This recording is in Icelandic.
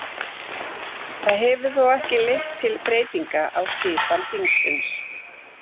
Það hefur þó ekki leitt til breytinga á skipan þingsins.